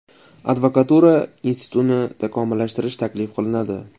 Advokatura institutini takomillashtirish taklif qilinadi.